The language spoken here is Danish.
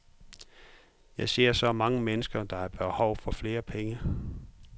Jeg ser så mange mennesker, der har behov for flere penge.